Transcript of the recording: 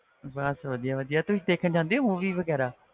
ਬਸ ਵਧੀਆ ਵਧੀਆ ਤੁਸੀਂ ਦੇਖਣ ਜਾਂਦੇ ਹੋ movie ਵਗ਼ੈਰਾ